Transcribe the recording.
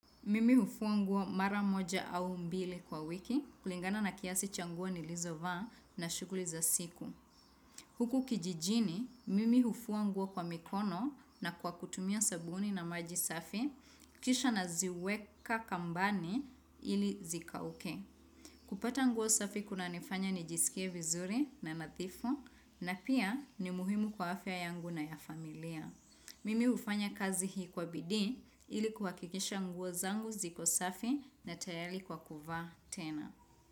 Mimi hufua nguo mara moja au mbili kwa wiki, kulingana na kiasi cha nguo nilizovaa na shughuli za siku. Huku kijijini, mimi hufua nguo kwa mikono na kwa kutumia sabuni na maji safi, kisha naziweka kambani ili zikauke. Kupata nguo safi kuna nifanya nijisikie vizuri na nadhifu, na pia ni muhimu kwa afya yangu na ya familia. Mimi hufanya kazi hii kwa bidii ili kuhakikisha nguo zangu ziko safi na tayari kwa kuvaa tena.